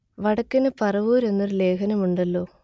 വടക്കന് പറവൂർ എന്ന് ഒരു ലേഖനം ഉണ്ടല്ലോ